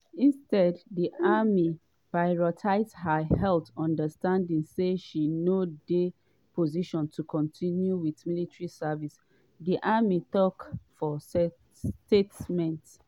instead di army prioritise her health understanding say she no dey position to continue wit military service" di army tok for statement.